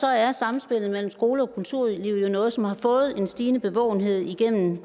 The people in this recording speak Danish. er samspillet mellem skole og kulturliv jo noget som har fået en stigende bevågenhed igennem